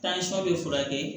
bɛ furakɛ